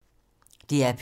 DR P2